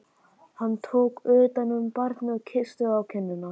Hann tók utan um barnið og kyssti það á kinnina.